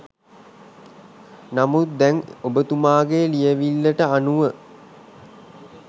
නමුත් දැන් ඔබතුමාගේ ලියවිල්ලට අනුව